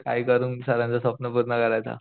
काय करून सरांचं स्वप्न पूर्ण करायचं.